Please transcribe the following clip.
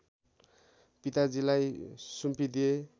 पिताजीलाई सुम्पिदिए